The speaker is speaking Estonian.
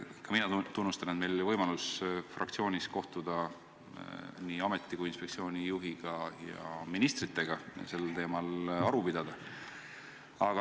Ka mina tunnistan, et meil oli võimalus fraktsioonis kohtuda nii ameti kui inspektsiooni juhiga ja ka ministriga sellel teemal aru pidada.